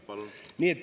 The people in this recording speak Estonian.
Jaa, palun!